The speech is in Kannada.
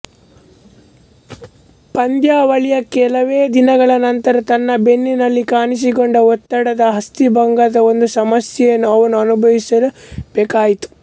ಪಂದ್ಯಾವಳಿಯ ಕೆಲವೇ ದಿನಗಳ ನಂತರ ತನ್ನ ಬೆನ್ನಿನಲ್ಲಿ ಕಾಣಿಸಿಕೊಂಡ ಒತ್ತಡದ ಅಸ್ಥಿಭಂಗದ ಒಂದು ಸಮಸ್ಯೆಯನ್ನು ಅವನು ಅನುಭವಿಸಬೇಕಾಯಿತು